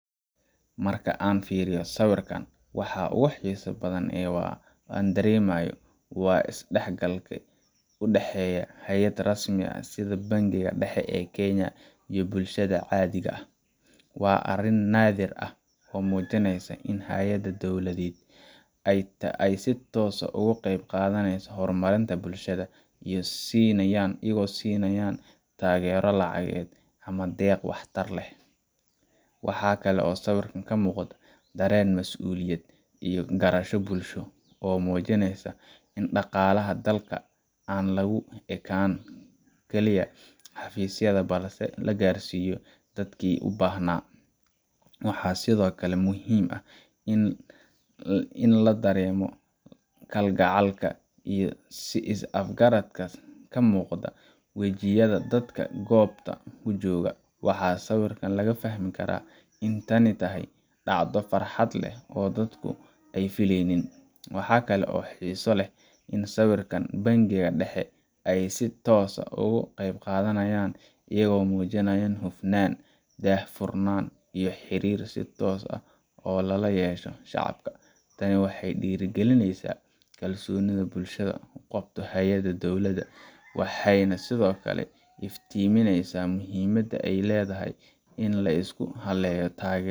Marka aan fiiriyo sawirkan, waxa ugu xiisaha badan ee aan dareemayo waa isdhexgalka u dhexeeya hay’ad rasmi ah sida Bankiga Dhexe ee Kenya iyo bulshada caadiga ah. Waa arrin naadir ah oo muujinaysa in hay’adaha dowladda ay si toos ah uga qayb qaadanayso horumarinta bulshada, iyagoo siinaya taageero lacageed ama deeq wax tar leh. Waxa kale oo sawirkan ka muuqda dareen mas’uuliyad iyo garasho bulsho, oo muujinaysa in dhaqaalaha dalka aan lagu ekaan kaliya xafiisyada, balse la gaarsiinayo dadkii u baahnaa. Waxaa sidoo kale muhiim ah in la dareemo kalgacayl iyo is afgarad ka muuqda wejiyada dadka goobta jooga waxaa sawirka laga fahmi karaa in tani tahay dhacdo farxad leh oo dadku ay filanayeen. Waxaa kale oo xiiso leh in saraakiisha Bankiga Dhexe ay si toos ah uga qaybgalayaan, iyagoo muujinaya hufnaan, daahfurnaan, iyo xiriir toos ah oo lala yeesho shacabka. Tani waxay dhiirrigelinaysaa kalsoonida bulshada ku qabto hay’adaha dowladda, waxayna sidoo kale iftiiminaysaa muhiimadda ay leedahay in la isku halleeyo